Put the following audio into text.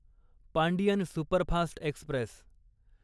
Pandian superfast Express